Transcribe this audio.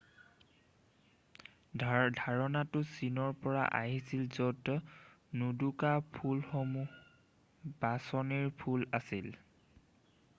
ধাৰণাটো চীনৰ পৰা আহিছিল য'ত নোদোকা ফুলসমূহ বাছনিৰ ফুল আছিল৷